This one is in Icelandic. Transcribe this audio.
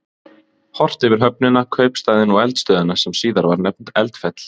Horft yfir höfnina, kaupstaðinn og eldstöðina sem síðar var nefnd Eldfell.